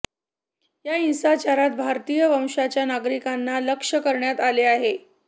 या हिंसाचारात भारतीय वंशाच्या नागरिकांना लक्ष्य करण्यात आले आहे